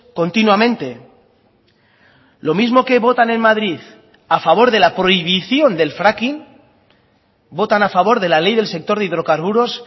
continuamente lo mismo que votan en madrid a favor de la prohibición del fracking votan a favor de la ley del sector de hidrocarburos